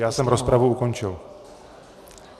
Já jsem rozpravu ukončil.